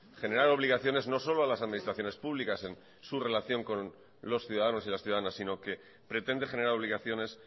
generar obligaciones no solo a las administraciones públicas en su relación con los ciudadanos y las ciudadanas sino que pretende generar obligaciones